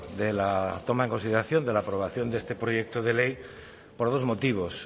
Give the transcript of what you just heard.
de la toma en consideración de la aprobación de este proyecto de ley por dos motivos